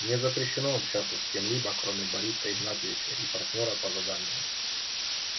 мне запрещено общаться с кем-либо кроме бориса игнатьевича и партнёра по заданию